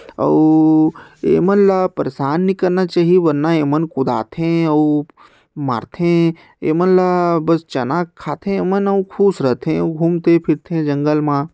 अऊ ए मन ला परेसान नि करना चाही वरना ए मन कूदा थे अऊ मारथे ए मन ल बस चना खाथे ए मन अऊ खुस रथे अऊ घूमथे-फिरथे जंगल म--